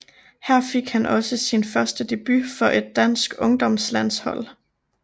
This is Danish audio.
Her fik han også sin første debut for et dansk ungdomslandshold